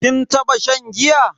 Kin taba shan giya?